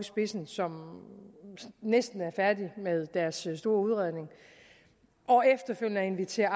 spidsen som næsten er færdige med deres store udredning og efterfølgende at invitere